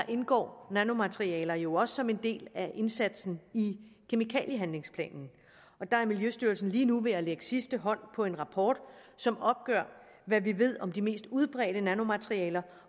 indgår nanomaterialer jo også som en del af indsatsen i kemikaliehandlingsplanen og der er miljøstyrelsen lige nu ved at lægge sidste hånd på en rapport som opgør hvad vi ved om de mest udbredte nanomaterialer